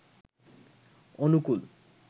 অনুকূল